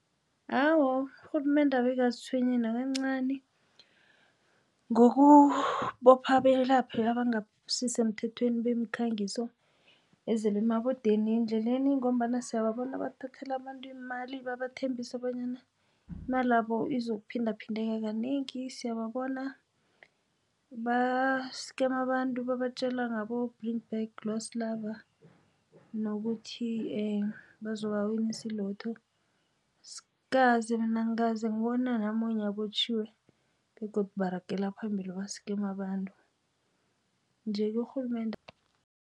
Awa, urhulumende abe akazitshwenyi nakancani ngokubopha abelaphi abangasisemthethweni bemikhangiso ezele emabodeni endleleni ngombana siyababona babathathela abantu imali babathembise bonyana imalabo izokuphindephindeka kanengi. Siyababona ba-scammer abantu babatjela ngabo-bring back lost lover nokuthi bazobawinisa i-lotto. Angikaze mina ngibona namunye abotjhiwe begodu baragela phambili ba-scammer abantu nje urhulumende.